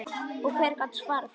Og hver gat svarað því?